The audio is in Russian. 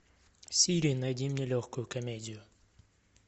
сири найди мне легкую комедию